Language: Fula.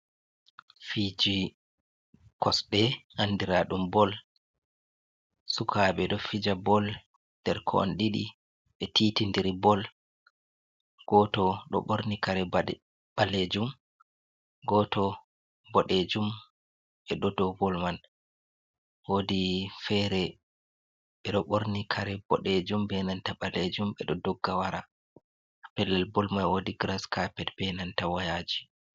Fiji kosde andira dum bol sukabe do fija bol, nderkon didi be titi diri bol goto do borni kare balejum goto bodejum be do do bol man wodi fere be do borni kare bodejum benanta balejum be do dogga wara a pellel bol mai wodi gras carped be nanta wayaji.